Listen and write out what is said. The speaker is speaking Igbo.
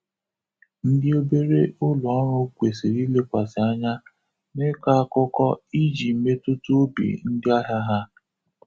Ndị obere ụlọ ọrụ kwesiri ilekwasi anya n'ịkọ akụkọ iji metụta obi ndi ahia ha.